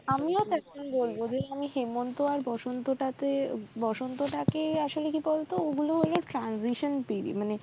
আমিও বলবো যে আমি হেমন্ত আর বসন্তটাকে বসন্তটাকে আসলে কি বলত ওগুলো হলো transition পীড়ি